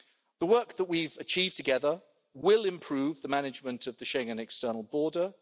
The work that we've achieved together will improve the management of the Schengen external border.